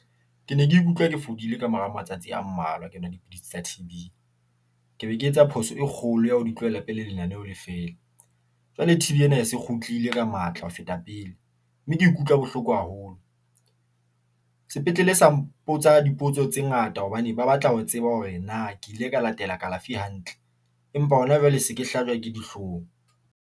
Ke ne ke ikutlwa ke fodile ka mora matsatsi a mmalwa ke nwa dipidisi tsa T_ B, ke be ke etsa phoso e kgolo ya, ho di tlohela pele. Lenaneho Le feela jwale T _B ena e se kgutlile ka matla ho feta pele mme ke ikutlwa bohloko haholo sepetlele. Sa mpotsa dipotso tse ngata hobane ba batla ho tseba hore na ke ile ka latela kalafi hantle. Empa hona jwale se ke hlajwa ke dihloong.